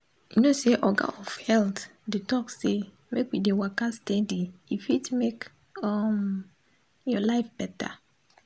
you know say oga of health dey talk say make we dey waka steady e fit make um your life better